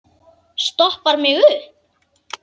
Stoppar mig upp?